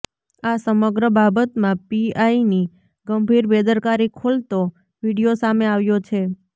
આ સમગ્ર બાબતમાં પીઆઈની ગંભીર બેદરકારી ખોલતો વીડિયો સામે આવ્યો છે